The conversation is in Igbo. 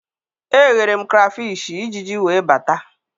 Eghere m krafish, Ijiji wee bata